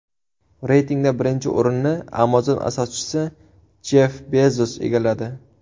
Reytingda birinchi o‘rinni Amazon asoschisi Jeff Bezos egalladi.